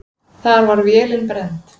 Þar var vélin brennd.